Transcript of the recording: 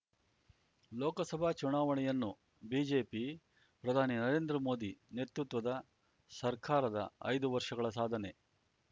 ಲೋಕಸಭಾ ಚುನಾವಣೆಯನ್ನು ಬಿಜೆಪಿ ಪ್ರಧಾನಿ ನರೇಂದ್ರಮೋದಿ ನೇತೃತ್ವದ ಸರ್ಕಾರದ ಐದು ವರ್ಷಗಳ ಸಾಧನೆ